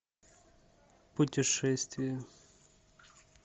путешествия